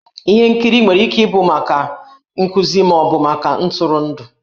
Ihe nkiri nwere ike ịbụ ihe nkuzi ma ọ bụ maka ntụrụndụ.